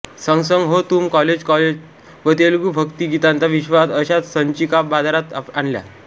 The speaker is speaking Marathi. संग संग हो तुम कॉलेज कॉलेज व तेलुगू भक्तिगीतांचा विश्वात्मा अश्या संचिका बाजारात आणल्या